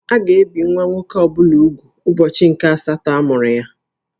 A ga ebì nwa nwoke ọ bụla úgwù n'ubọchi nke-asatọ nke amuru ya